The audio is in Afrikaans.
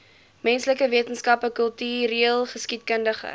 menslike wetenskappe kultureelgeskiedkundige